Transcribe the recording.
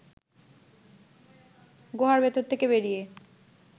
গুহার ভেতর থেকে বেরিয়ে